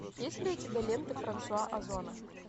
есть ли у тебя ленты франсуа озона